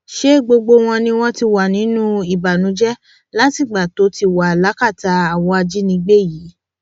ṣe gbogbo wọn ni wọn ti wà nínú ìbànújẹ látìgbà tó ti wà lákàtà àwọn ajínigbé yìí